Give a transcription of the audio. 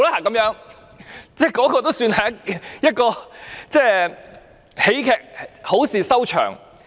那次算是一齣喜劇，好事收場。